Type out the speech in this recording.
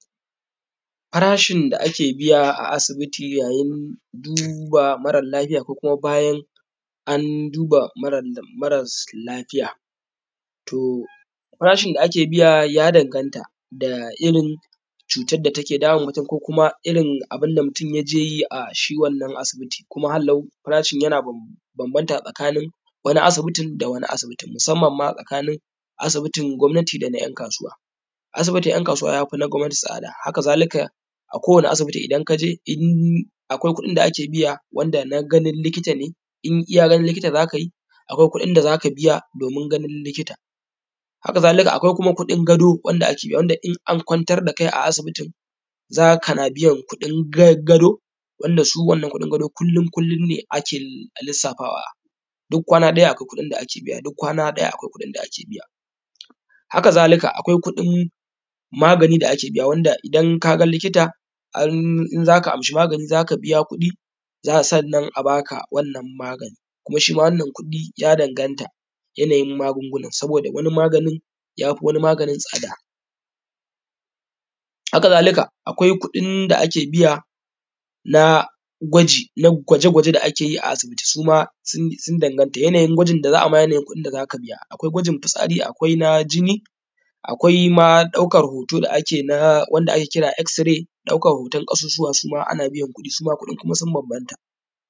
Farashin da ake biya a asibiti yayin duba maralafiya ko kuma bayan an duba mara lafiya, to farashin da ake biya ya danganta da irin cutar da take damun mutum, ko kuma irin abunda mutum yage yayi a wannan asibitin. kuma hallau, farashin yana banbanta da irin asibitin, musamman ma tsakanin asibitin na gomnati da na ’yan kasuwa. Asibitin ’yan kasuwa ya fi na gomnati tsada, haka zalika, akowani asibiti in ka je akwai kuɗin da ake biya wanda na ganin likita ne in iya ganin likita za ka yi akwai kuɗin da za ka biya domin ganin likita. Haka zalika akwai kuɗin gado, wanda in an kwantar da kai a asibiti, za ka biya kuɗin gado wanda shi wannan kuɗin gado, kullin-kullin ne ake lissafa duk kwana ɗaya akwai kuɗin da ake biya, haka zalika akwai kuɗin magani da ake biya wanda idan ka ga likita um in za ka sayi magani za ka biya kuɗi, zanan magani a asa, sannan a baka wannan magani kuma shima, wannan kuɗin yadanganta da yanayin magunguna, saboda wani maganin ya fi wani maganin tsada. Haka zalika, akwai kuɗin da ake biya na gwaji, na gwaje-gwaje da ake yi, suma sun dangata yanayin gwajin da za'ayi maka, yanayin kuɗin da za ka biya. Akwai gwajin fitsari, akwai na jini, akwai ma ɗaukan hoto da ake, wanda ake kira X-ray, ɗaukan hoton ƙasussuwa suma ana biyan kuɗi, suma kuɗin ya banbanta.